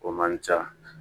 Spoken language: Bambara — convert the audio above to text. O man ca